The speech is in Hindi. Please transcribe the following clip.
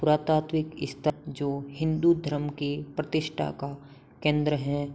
पुरातात्विक स्थल जो हिन्दू धर्म के प्रतिष्ठा का केंद्र है।